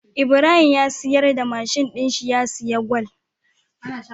Ibrahim ya siyar da mashin din shi ya siya gwal